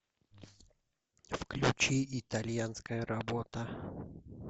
включи итальянская работа